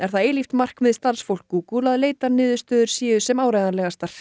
það eilíft markmið starfsfólks Google að leitarniðurstöður séu sem áreiðanlegastar